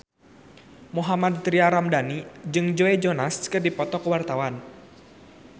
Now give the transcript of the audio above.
Mohammad Tria Ramadhani jeung Joe Jonas keur dipoto ku wartawan